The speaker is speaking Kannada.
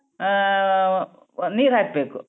ಆ ಆ ನೀರ್ ಹಾಕ್ಬೇಕು.